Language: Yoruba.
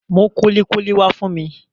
Mú kúlíkúlí wá fún mi